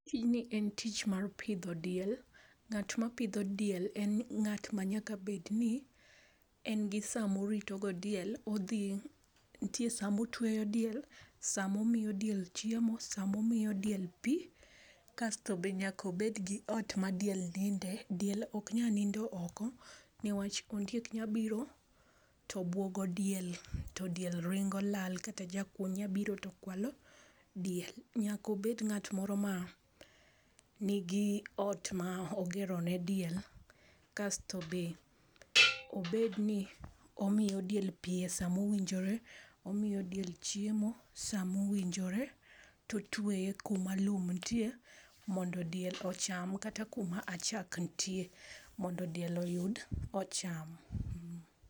Tijni en tich mar pidho diel. Ng'at ma pidho diel en ng'at ma nyaka bedni en gi saa moritogo diel. Odhi nitie saa motwe diel, saa momiyo diel chiemo, saa momiyo diel pi, kasto be nyaka obed gi ot madiel ninde nikech ok nyal nindo oko niwach ondiek nyalo biro to buogo diel, to diel ringo lal kata jakuo nyalo biro to kwalo diel. Nyaka obed ng'at moro ma nigi ot ma ogero ne diel. Kasto be obed ni omiyo diel pi e saa ma owinjore, omiyo diel chiemo samowinjore to otueye kuma lum nitie mondo diel ocham, kata kuma achak nitie mondo diel oyud ocham.